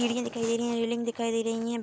सीढ़ियाँ दिखाई दे रही हैं रैलिंग दिखाई दे रही है।